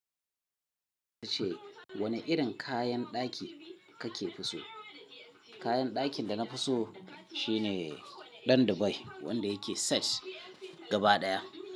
Yace wane irin kayan ɗaki kake so? Kayan dakin da na fi so shine ɗan Dubai wanda yake set gaba ɗaya.